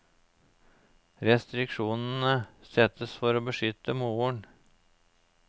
Restriksjonene settes for å beskytte moren.